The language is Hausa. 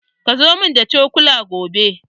Kazo mun da cokula gobe.